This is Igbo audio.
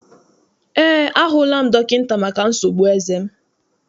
Eé, a hụla m dọkịta maka nsogbu eze m.